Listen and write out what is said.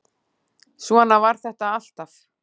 Svona var þetta alltaf.